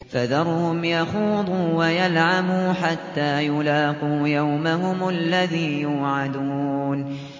فَذَرْهُمْ يَخُوضُوا وَيَلْعَبُوا حَتَّىٰ يُلَاقُوا يَوْمَهُمُ الَّذِي يُوعَدُونَ